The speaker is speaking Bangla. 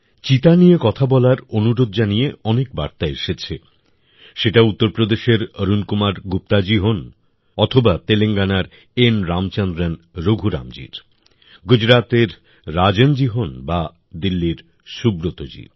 চিতা নিয়ে কথা বলার অনুরোধ জানিয়ে অনেক বার্তা এসেছে সেটা উত্তরপ্রদেশের অরুণ কুমার গুপ্তাজী হোন অথবা তেলেঙ্গানার এন রামচন্দ্রন রঘুরামজীর গুজরাতের রাজনজী হোন বা দিল্লীর সুব্রতজী